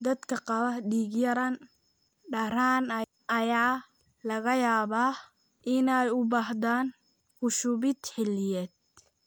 Dadka qaba dhiig-yaraan daran ayaa laga yaabaa inay u baahdaan ku shubid xilliyeed.